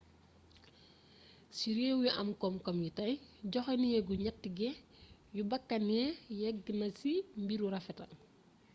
ci réw yu am komkom yi tay joxé neegu njaatige yu bakkané yegg na ci mbiru rafetal